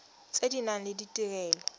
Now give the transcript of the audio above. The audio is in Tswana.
tse di nang le ditirelo